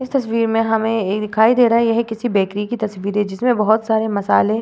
इस तस्वीर में हमें ए दिखाई दे रही है यह किसी बेकरी की तस्वीर है जिसमें बोहोत सारे मसालें --